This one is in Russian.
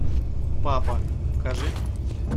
папа покажи